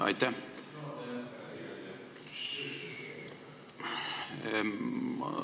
Aitäh!